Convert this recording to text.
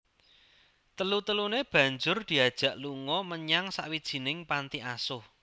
Telu teluné banjur diajak lunga menyang sawijining panti asuh